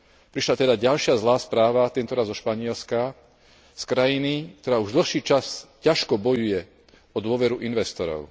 Prišla teda ďalšia zlá správa tentoraz zo Španielska, z krajiny, ktorá už dlhší čas ťažko bojuje o dôveru investorov.